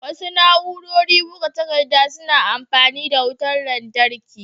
Wasu na'urori buga takaddar suna amfani da wutar lantarki